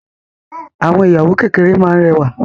Àwọn ìyàwó kékeré máa n rẹwa.